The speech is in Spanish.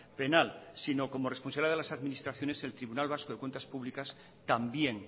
penal sino como responsabilidad de las administraciones el tribunal vasco de cuentas públicas también